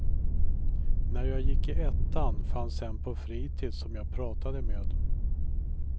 När jag gick i ettan fanns en på fritids som jag pratade med.